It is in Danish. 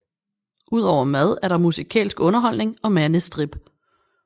Udover mad er der musikalsk underholdning og mandestrip